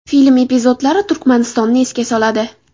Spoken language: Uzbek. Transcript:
Film epizodlari Turkmanistonni esga soladi.